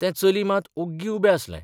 तें चली मात ओग्गीं उबें आसलें.